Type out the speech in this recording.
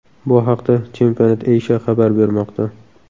Bu haqda Championat Asia xabar bermoqda .